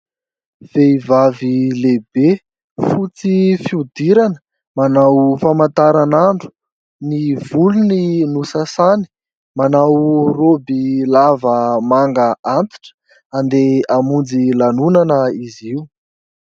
Vehivavy lehibe fotsy fihodirana manao famantaranandro. Ny volony nosasany. Manao roby lava manga antitra. Handeha hamonjy lanonana izy io.